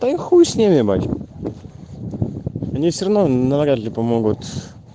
да и хуй сними ебать они все равно на вряд ли помогут